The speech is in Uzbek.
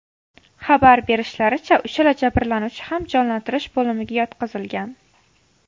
Xabar berishlaricha, uchala jabrlanuvchi ham jonlantirish bo‘limiga yotqizilgan.